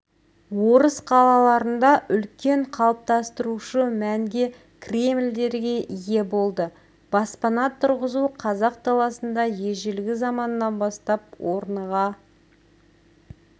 орыс қалаларында үлкен қалыптастырушы мәнге кремльдерге ие болды баспана тұрғызу қазақ даласында ежелгі заманнан бастап орныға